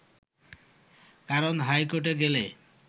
কারণ হাইকোর্টে গেলে